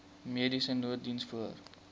mediese nooddiens voor